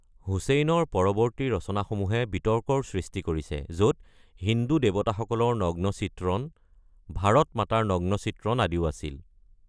হুছেইনৰ পৰৱৰ্তী ৰচনাসমূহে বিতৰ্কৰ সৃষ্টি কৰিছে, য’ত হিন্দু দেৱতাসকলৰ নগ্ন চিত্ৰণ, ভাৰত মাতাৰ নগ্ন চিত্ৰণ আদিও আছিল।